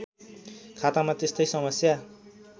खातामा त्यस्तै समस्या